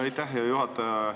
Aitäh, hea juhataja!